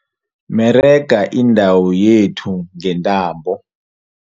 Merega indawo yethu ngentambo.